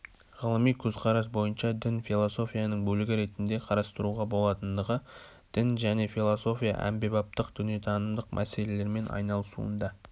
ғылыми көзқарас бойынша дін философияның бөлігі ретінде қарастыруға болатындығы дін және философия әмбебаптық дүниетанымдық мәселермен айналысуында